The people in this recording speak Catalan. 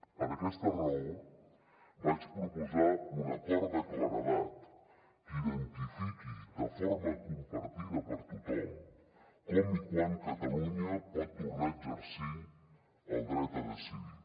per aquesta raó vaig proposar un acord de claredat que identifiqui de forma compartida per tothom com i quan catalunya pot tornar a exercir el dret a decidir